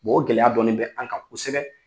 o gɛlɛya dɔɔnin bɛ an ka kosɛbɛ.